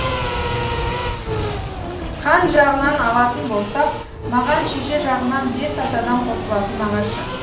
қан жағынан алатын болсақ маған шеше жағынан бес атадан қосылатын нағашы